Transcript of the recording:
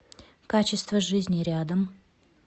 качество жизни рядом